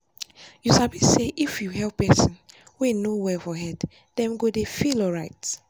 you sabi say if you help person wey no well for head them go dey feel alright.